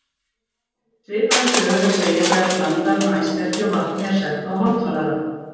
Svipaða sögu er að segja þegar blanda af maíssterkju og vatni er sett á hátalara.